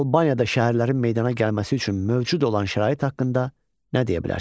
Albaniyada şəhərlərin meydana gəlməsi üçün mövcud olan şərait haqqında nə deyə bilərsiniz?